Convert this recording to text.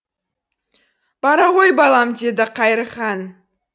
бара ғой балам деді қайырхан